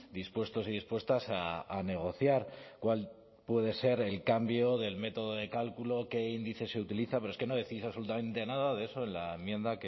dispuestos y dispuestas a negociar cuál puede ser el cambio del método de cálculo qué índice se utiliza pero es que no decís absolutamente nada de eso en la enmienda